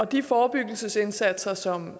de forebyggelsesindsatser som